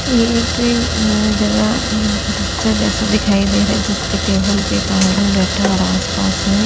ये एक ए म अ जगह मम जगह सा दिखाई देरा है जिसके टेबल पे एक आदमी बैठ है और आस पास में --